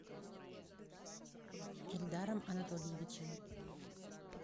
эльдаром анатольевичем